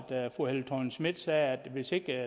fru helle thorning schmidt sagde at hvis ikke